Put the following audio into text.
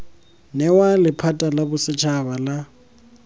newa lephata la bosetshaba la